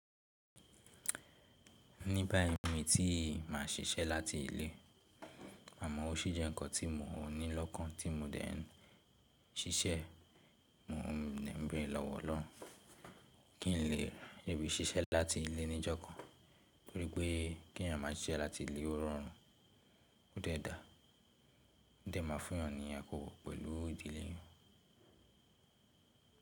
Nígbà ìmí ti mà ṣiṣẹ́ láti ilé, àmọ́ ọ́ ṣí jẹ́ ǹkan tí mo ní lọ́kàn tí mo dẹ́ n ṣiṣẹ́. Mò n bẹ̀rẹ̀ lọ́wọ́ Ọlọ́run kí n lè rí bí ṣiṣẹ́ láti ilé ní jọ̀kàn, nítorí pé kí ẹ̀yàn máa ṣiṣẹ́ láti ilé ó rọrùn, ó dẹ̀ dà, ó dẹ̀ máa fún ẹ̀yàn ní akoko pẹ̀lú ìdílé wọn.